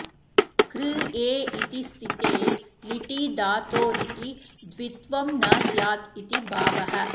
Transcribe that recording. कृ ए इति स्थिते लिटि धातोरिति द्वित्वं न स्यादिति भावः